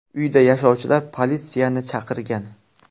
Uyda yashovchilar politsiyani chaqirgan.